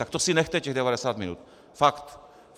Tak to si nechte, těch 90 minut. Fakt.